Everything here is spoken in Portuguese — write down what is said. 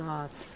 Nossa.